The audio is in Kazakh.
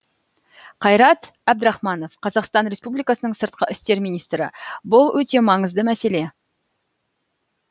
қайрат әбдірахманов қазақстан республикасының сыртқы істер министрі бұл өте маңызды мәселе